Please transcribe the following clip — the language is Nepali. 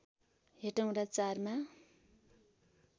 हेटौँडा ४ मा